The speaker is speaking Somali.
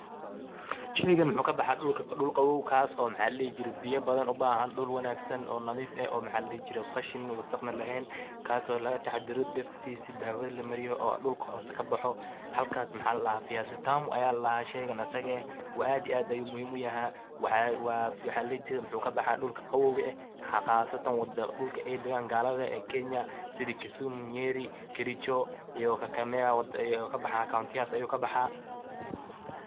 Sheygaan wuxu kaa baxaa dhuulka. dhuul qabow kaas oo maxa laa dihii jiire biiya badaan uu bahaan dhuul wanagsaan oo nadiif eeh oo maxa laa dihii jiire qashiin wasaaq naa lehen. kaaso lagaa taxadhaare dirtiisi dawadaa laa maariye oo dhuulka hoose kaa baaxo. halkaas maxa laa dahaa viazi tamu ayaa laa dahaa sheygaan asaga eeh. aad iyo aad ayu muhiim uu yahay waxa laa dihi jiire wuxu kaa baxaa dhulkaa qabowkaa aah, qasataan dhulkaa eey dagaan galadaa ee kenya sidii kisumu, nyeri, kericho iyo kakamega yuu kaa baaxa kauntiyahas ayuu kaa baxaa.